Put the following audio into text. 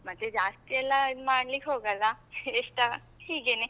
ಮತ್ತೆ ಜಾಸ್ತಿ ಎಲ್ಲಾ ಇದ್ ಮಾಡ್ಲಿಕ್ಕ್ ಹೋಗಲ್ಲ, ಎಸ್ಟ ಹೀಗೇನೆ.